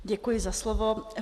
Děkuji za slovo.